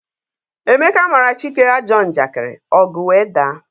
Emeka mara Chike ajọ njakiri, ọgu wee daa